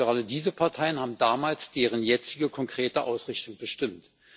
Und gerade diese Parteien haben damals deren jetzige konkrete Ausrichtung bestimmt.